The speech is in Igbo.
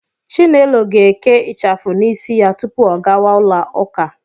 Chinelo ga-eke ịchafụ n'isi ya tupu ọ gawa ụlọụka.